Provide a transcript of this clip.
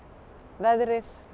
veðrið